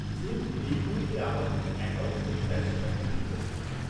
যেহেতু এই মুহূর্তে আমার কোনও অ্যাকাউন্ট নেই, তাই সেটা কঠিন মনে হচ্ছে।